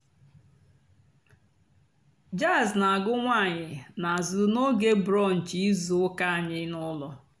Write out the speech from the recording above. jàzz nà-àgù ǹwànyọ́ n'àzụ́ n'óge brùnch ìzú ụ́kà ànyị́ n'ụ́lọ́.